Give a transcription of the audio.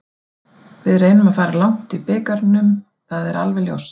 Við reynum að fara langt í bikarnum það er alveg ljóst.